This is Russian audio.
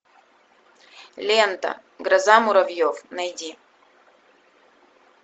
лента гроза муравьев найди